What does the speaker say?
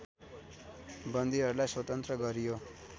बन्दीहरूलाई स्वतन्त्र गरियो